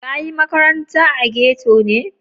Ka yi maƙaranta a ghetto ne?